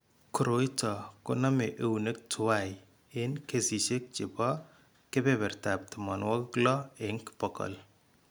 Koroi ito ko name eunek tuwai eng kesishek chebo kebertab tamanwok lo eng bokol.